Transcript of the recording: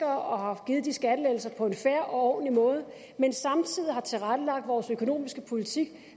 og har givet de skattelettelser på en fair og ordentlig måde men samtidig har vi tilrettelagt vores økonomiske politik